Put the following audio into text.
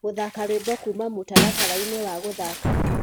gũthaka rwĩmbo kũma mũtarataraĩnĩ wa guthaka